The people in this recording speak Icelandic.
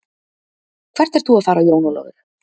Hvert ert þú að fara Jón Ólafur.